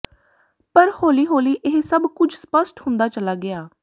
ਪਰ ਹੋਲੀ ਹੋਲੀ ਇਹ ਸਭ ਕੁਝ ਸਪਸ਼ਟ ਹੁੰਦਾ ਚਲਾ ਗਿਆ